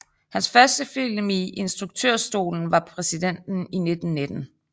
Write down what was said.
Hans første film i instruktørstolen var Præsidenten i 1919